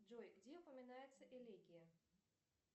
джой где упоминается элегия